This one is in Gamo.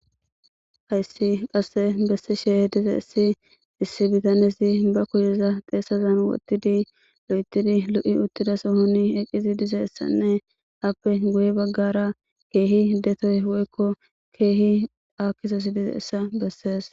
Haysi kase besishe dizaysi issi bitanezi ba kusheza xeesazan wothidi loytidi lo'iwuthida sohoni eqidi dizaysane ape guye bagara keehi detoy woyko keehi aakizaysi dizaysa beses.